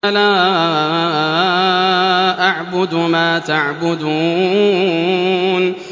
لَا أَعْبُدُ مَا تَعْبُدُونَ